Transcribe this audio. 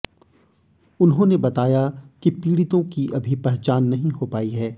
उन्होंने बताया कि पीडि़तों की अभी पहचान नहीं हो पाई है